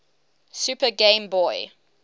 super game boy